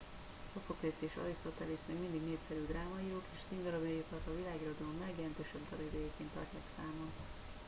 szophoklész és arisztotelész még mindig népszerű drámaírók és színdarabjaikat a világirodalom legjelentősebb darabjaiként tartják számon